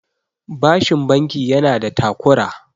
bashin banki yana da takura